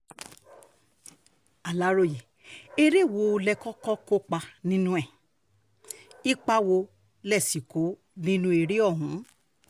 aláròye eré wo lẹ kọ́kọ́ kópa nínú ẹ̀ ipa wo lẹ sì kó nínú eré ọ̀hún